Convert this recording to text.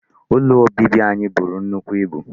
Ụlọ obibi anyị buru nnukwu ibu.